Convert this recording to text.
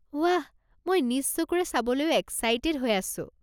ৱাহ! মই নিজ চকুৰে চাবলৈও এক্সাইটেড হৈ আছো।